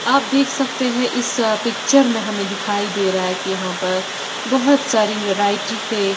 आप देख सकते हैं इस अ पिक्चर में हमें दिखाई दे रहा है कि यहां पर बहुत सारी वैरायटी के--